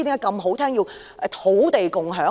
甚麼是土地共享？